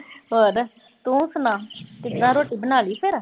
ਹੋਰ। ਤੂੰ ਸੁਣਾ, ਕਿੱਦਾਂ ਰੋਟੀ ਬਣਾ ਲੀ ਫਿਰ।